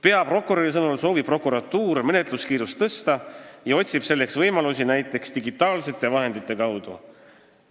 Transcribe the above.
Peaprokuröri sõnul soovib prokuratuur menetluskiirust tõsta ja otsib selleks võimalusi näiteks digitaalsete vahendite kaudu.